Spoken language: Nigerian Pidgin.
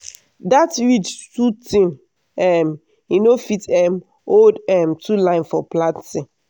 dat ridge too thin um e no fit um hold um two line for planting.